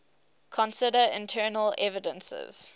consider internal evidences